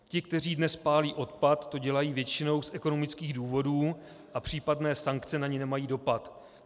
Ti, kteří dnes pálí odpad, to dělají většinou z ekonomických důvodů a případné sankce na ně nemají dopad.